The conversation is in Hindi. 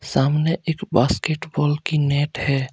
सामने एक बास्केटबॉल की नेट है।